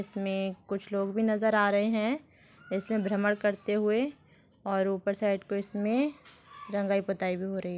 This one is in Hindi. इसमें कुछ लोग भी नज़र आ रहे हैं इसमें भ्रमण करते हुए और ऊपर शायद कुछ इसमें रंगाई पुताई भी हो रही हैं।